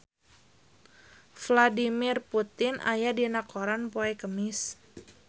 Vladimir Putin aya dina koran poe Kemis